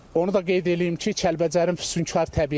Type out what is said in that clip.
Onu da qeyd eləyim ki, Kəlbəcərin füsunkar təbiəti var.